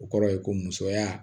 O kɔrɔ ye ko musoya